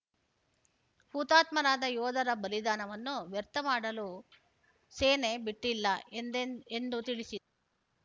ಹುತಾತ್ಮರಾದ ಯೋಧರ ಬಲಿದಾನವನ್ನು ವ್ಯರ್ಥ ಮಾಡಲು ಸೇನೆ ಬಿಟ್ಟಿಲ್ಲ ಎಂದ್ ಎಂದ್ ಎಂದು ತಿಳಿಸಿದರು